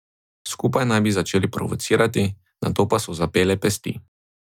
Skupaj naj bi začeli provocirati, nato pa so zapele pesti.